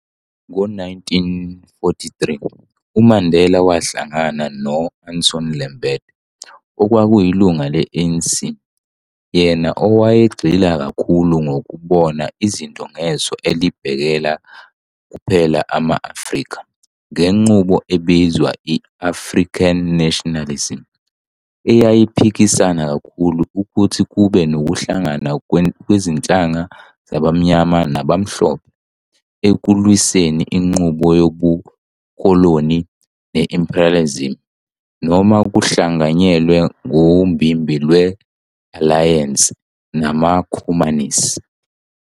Ngo 1943, uMandela wahlangana no-Anton Lembede, okwakuyilunga le-ANC, yena owayegxila kakhulu ngokubona izinto ngeso elibhekela kuphela ama-Afrika ngenqubo ebizwa i-African nationalism, eyayiphikisana kakhulu ukuthi kube nokuhlangana kwezinhlanga zabammnyama nabamhlophe ekulwiseni inqubo yobukoloni ne-imperialism, noma ukuhlanganyela ngombimbi lwe-alayense namakhomanisi.